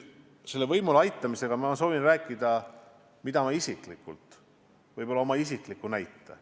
Selle võimule aitamisega seoses ma ehk toon isikliku näite.